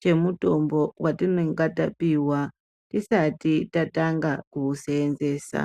chemutimbo watinenge tapuwa tisati tatanga kuuseenzesa.